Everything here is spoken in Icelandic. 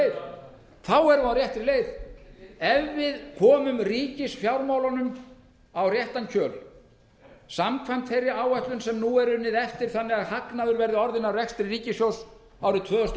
þá erum við á réttri leið ef við komum ríkisfjármálunum á réttan kjöl samkvæmt þeirri áætlun sem nú er unnið eftir þannig að hagnaður verði orðinn af rekstri ríkissjóðs árið tvö þúsund og